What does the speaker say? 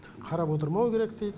қарап отырмау керек дейді